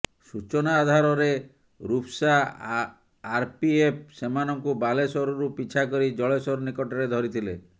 ସୂଚନା ଆଧାରରେ ରୂପସା ଆରପିଏଫ ସେମାନଙ୍କୁ ବାଲେଶ୍ୱରରୁ ପିଛା କରି ଜଳେଶ୍ୱର ନିକଟରେ ଧରିଥିଲେ